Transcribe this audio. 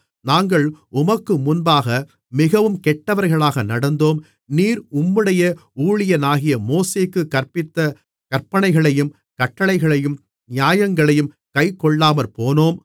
நாங்கள் உமக்கு முன்பாக மிகவும் கெட்டவர்களாக நடந்தோம் நீர் உம்முடைய ஊழியனாகிய மோசேக்குக் கற்பித்த கற்பனைகளையும் கட்டளைகளையும் நியாயங்களையும் கைக்கொள்ளாமற்போனோம்